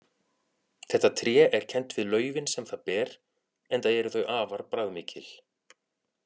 Þetta tré er kennt við laufin sem það ber enda eru þau afar bragðmikil.